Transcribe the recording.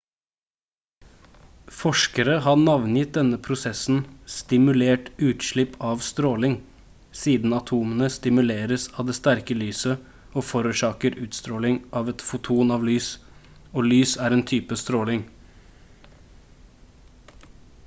forskere har navngitt denne prosessen «stimulert utslipp av stråling» siden atomene stimuleres av det sterke lyset og forårsaker utstråling av et foton av lys og lys er en type stråling